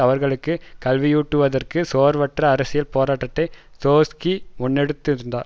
அவர்களுக்கு கல்வியூட்டுவதற்கு சோர்வற்ற அரசியல் போராட்டத்தை ட்ரொட்ஸ்கி முன்னெடுத்திருந்தார்